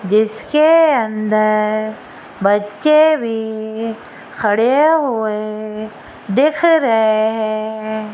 जिसके अंदर बच्चे भी खड़े हुए दिख रहे है।